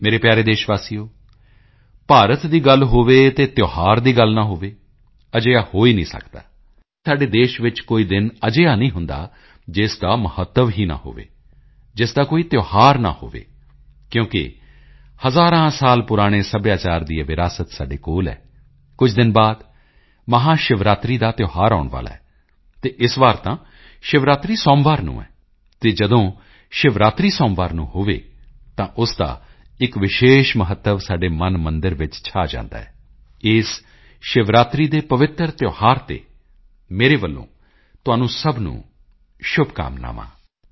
ਮੇਰੇ ਪਿਆਰੇ ਦੇਸ਼ਵਾਸੀਓ ਭਾਰਤ ਦੀ ਗੱਲ ਹੋਵੇ ਅਤੇ ਤਿਓਹਾਰ ਦੀ ਗੱਲ ਨਾ ਹੋਵੇ ਅਜਿਹਾ ਹੋ ਹੀ ਨਹੀਂ ਸਕਦਾ ਸ਼ਾਇਦ ਹੀ ਸਾਡੇ ਦੇਸ਼ ਵਿੱਚ ਕੋਈ ਦਿਨ ਅਜਿਹਾ ਨਹੀਂ ਹੁੰਦਾ ਜਿਸ ਦਾ ਮਹੱਤਵ ਹੀ ਨਾ ਹੋਵੇ ਜਿਸ ਦਾ ਕੋਈ ਤਿਓਹਾਰ ਨਾ ਹੋਵੇ ਕਿਉਂਕਿ ਹਜ਼ਾਰਾਂ ਸਾਲ ਪੁਰਾਣੇ ਸੱਭਿਆਚਾਰ ਦੀ ਇਹ ਵਿਰਾਸਤ ਸਾਡੇ ਕੋਲ ਹੈ ਕੁਝ ਦਿਨ ਬਾਅਦ ਮਹਾਸ਼ਿਵਰਾਤਰੀ ਦਾ ਤਿਓਹਾਰ ਆਉਣ ਵਾਲਾ ਹੈ ਅਤੇ ਇਸ ਵਾਰੀ ਤਾਂ ਸ਼ਿਵਰਾਤਰੀ ਸੋਮਵਾਰ ਨੂੰ ਹੈ ਅਤੇ ਜਦੋਂ ਸ਼ਿਵਰਾਤਰੀ ਸੋਮਵਾਰ ਨੂੰ ਹੋਵੇ ਤਾਂ ਉਸ ਦਾ ਇੱਕ ਵਿਸ਼ੇਸ਼ ਮਹੱਤਵ ਸਾਡੇ ਮਨਮੰਦਿਰ ਵਿੱਚ ਛਾ ਜਾਂਦਾ ਹੈ ਇਸ ਸ਼ਿਵਰਾਤਰੀ ਦੇ ਪਵਿੱਤਰ ਤਿਓਹਾਰ ਤੇ ਮੇਰੇ ਵੱਲੋਂ ਤੁਹਾਨੂੰ ਸਭ ਨੂੰ ਬਹੁਤਬਹੁਤ ਸ਼ੁਭਕਾਮਨਾਵਾਂ ਹਨ